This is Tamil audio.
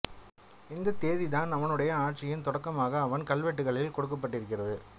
இந்தத் தேதி தான் அவனுடைய ஆட்சியின் தொடக்கமாக அவன் கல்வெட்டுகளில் கொடுக்கப்பட்டிருக்கிறது